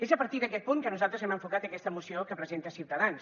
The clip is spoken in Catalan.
és a partir d’aquet punt que nosaltres hem enfocat aquesta moció que presenta ciutadans